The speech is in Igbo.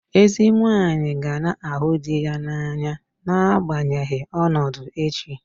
Ezi nwunye ga na-ahụ di ya n'anya n'agbanyeghị ọnọdụ echi.